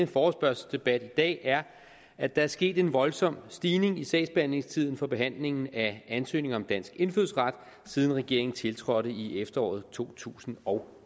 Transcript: forespørgselsdebat i dag er at der er sket en voldsom stigning i sagsbehandlingstiden for behandlingen af ansøgning om dansk indfødsret siden regeringen tiltrådte i efteråret to tusind og